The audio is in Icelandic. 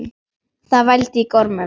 Það vældi í gormum.